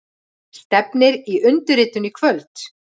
Stefnir í undirritun í kvöld